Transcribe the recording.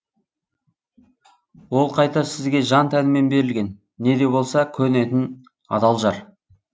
ол қайта сізге жан тәнімен берілген не де болса көнетін адал жар